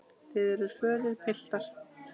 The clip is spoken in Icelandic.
Þið eruð fölir, piltar.